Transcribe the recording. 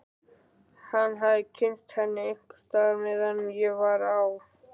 Hann hafði kynnst henni einhvers staðar meðan ég var á